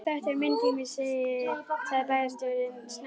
Þetta er minn tími sagði bæjarstjórinn snöggt.